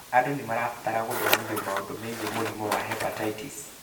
Andũ nĩ marabatara gũthomithio maũndũ megiĩ mũrimũ wa hepatitis.